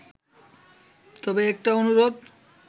তবে একটা অনুরোধ